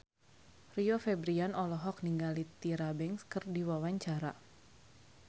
Rio Febrian olohok ningali Tyra Banks keur diwawancara